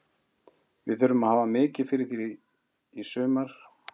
Við þurfum að hafa mikið fyrir því í sumar, ég er alveg pottþéttur á því.